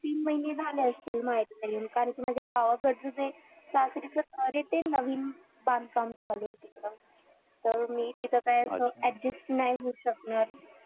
तीन महिने झाले असतील माहेरी येऊन कारण कि माझ्या गावाकडचं जे सासरी ते नवीन बांधकाम चालू आहे तिकडं तर मी तिथं काय adjust नाही होऊ शकणार